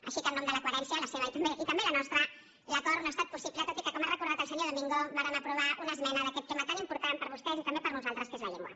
així que en nom de la coherència la seva i també la nostra l’acord no ha estat possible tot i que com ha recordat el senyor domingo vàrem aprovar una esmena d’aquest tema tan important per a vostès i també per a nosaltres que és la llengua